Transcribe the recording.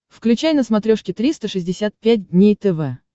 включай на смотрешке триста шестьдесят пять дней тв